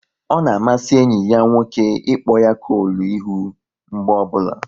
Ọ na amasị enyi ya nwoke ịkpọ ya kolu ihu mgbe ọbụla